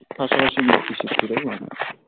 পাশাপাশি লক্ষী ঠাকুরও বানায়.